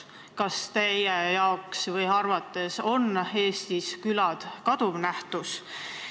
Kas teie arvates on Eestis külad kaduv nähtus?